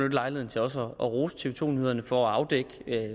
lejligheden til også at rose tv to nyhederne for at afdække